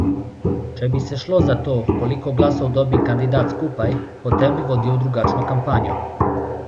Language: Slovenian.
Če bi se šlo za to, koliko glasov dobi kandidat skupaj, potem bi vodil drugačno kampanjo.